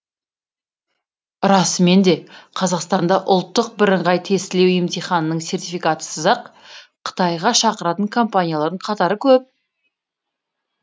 расымен де қазақстанда ұлттық біріңғай тестілеу емтиханының сертификатысыз ақ қытайға шақыратын компаниялардың қатары көп